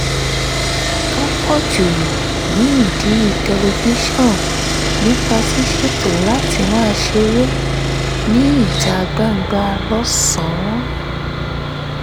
tó pọ̀ jù nídìí tẹlifíṣọ̀n nípa ṣíṣètò láti máa ṣeré níta gbangba lọ́sàn-án